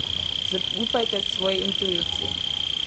Zaupajte svoji intuiciji.